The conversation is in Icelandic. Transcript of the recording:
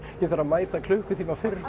ég þarf að mæta klukkutíma fyrr